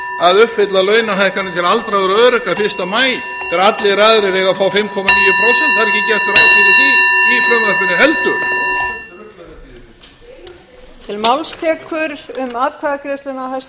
að uppfylla launahækkanir til aldraðra og öryrkja fyrsta maí þegar allir aðrir eiga að fá fimm komma níu prósent það er ekki gert ráð fyrir því í frumvarpinu heldur